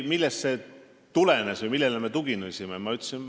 Millest see tulenes või millele me tuginesime?